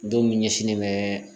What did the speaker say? Don min ɲɛsinnen bɛ